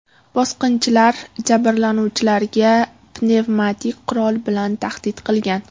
Bosqinchilar jabrlanuvchilarga pnevmatik qurol bilan tahdid qilgan.